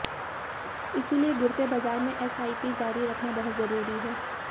इसलिए गिरते बाजार में एसआईपी जारी रखना बहुत जरूरी है